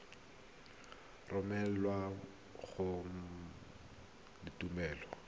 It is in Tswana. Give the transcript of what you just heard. romelwa ga mmogo le tuelo